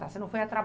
tá, você não foi a